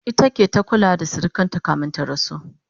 ita ke ta kulawa da sirikinta kamin ya rasu